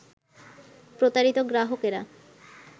প্রতারিত গ্রাহকেরা